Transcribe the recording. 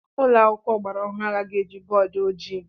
Ụlọ akwụkwọ ọgbara ọhụrụ agaghị eji bọọdụ ojii.